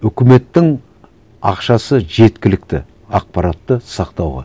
үкіметтің ақшасы жеткілікті ақпаратты сақтауға